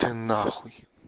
ты на хуй